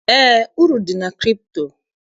Eé, uru dị na kripto.